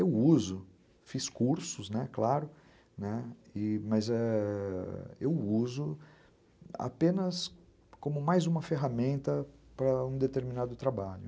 Eu uso, fiz cursos, né, claro, é... mas eu uso apenas como mais uma ferramenta para um determinado trabalho.